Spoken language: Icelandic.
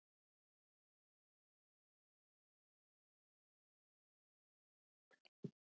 Annas, einhvern tímann þarf allt að taka enda.